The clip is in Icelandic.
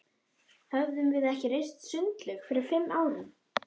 Höfðum við ekki reist sundlaug fyrir fimm árum?